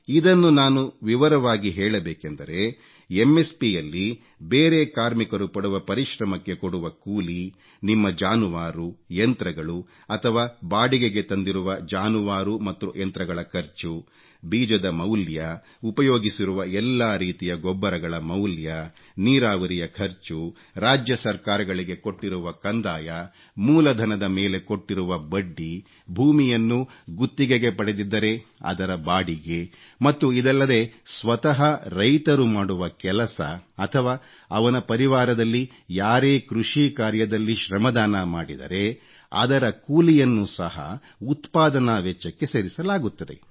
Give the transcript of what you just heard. ಇದನ್ನು ನಾನು ವಿವರವಾಗಿ ಹೇಳಬೇಕೆಂದರೆ ಒSP ಯಲ್ಲಿ ಬೇರೆ ಕಾರ್ಮಿಕರು ಪಡುವ ಪರಿಶ್ರಮಕ್ಕೆ ಕೊಡುವ ಕೂಲಿ ನಿಮ್ಮ ಜಾನುವಾರು ಯಂತ್ರಗಳು ಅಥವಾ ಬಾಡಿಗೆಗೆ ತಂದಿರುವ ಜಾನುವಾರು ಮತ್ತು ಯಂತ್ರಗಳ ಖರ್ಚು ಬೀಜದ ಮೌಲ್ಯ ಉಪಯೋಗಿಸಿರುವ ಎಲ್ಲಾ ರೀತಿಯ ಗೊಬ್ಬರಗಳ ಮೌಲ್ಯ ನೀರಾವರಿಯ ಖರ್ಚು ರಾಜ್ಯ ಸರ್ಕಾರಗಳಿಗೆ ಕೊಟ್ಟಿರುವ ಕಂದಾಯ ಮೂಲಧನದ ಮೇಲೆ ಕೊಟ್ಟಿರುವ ಬಡ್ಡಿ ಭೂಮಿಯನ್ನು ಗುತ್ತಿಗೆಗೆ ಪಡೆದಿದ್ದರೆ ಅದರ ಬಾಡಿಗೆ ಮತ್ತು ಇದಲ್ಲದೆ ಸ್ವತಃ ರೈತರು ಮಾಡುವ ಕೆಲಸ ಅಥವಾ ಅವನ ಪರಿವಾರದಲ್ಲಿ ಯಾರೇ ಕೃಷಿ ಕಾರ್ಯದಲ್ಲಿ ಶ್ರಮದಾನ ಮಾಡಿದರೆ ಅದರ ಕೂಲಿಯನ್ನು ಸಹ ಉತ್ಪಾದನಾ ವೆಚ್ಚಕ್ಕೆ ಸೇರಿಸಲಾಗುತ್ತದೆ